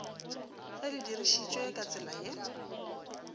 ge le dirišitšwe ka tsela